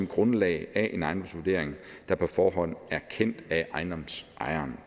grundlag af en ejendomsvurdering der på forhånd er kendt af ejendomsejeren